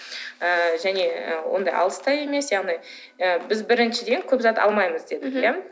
ыыы және ондай алыс та емес яғни ы біз біріншіден көп зат алмаймыз дедік иә